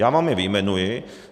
Já vám je vyjmenuji.